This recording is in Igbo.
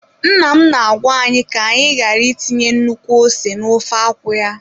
Nna m na-agwa anyị ka anyị ghara itinye nnukwu ose n'ofe akwụ ya.